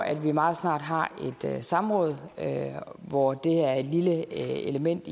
at vi meget snart har et samråd hvor det er et lille element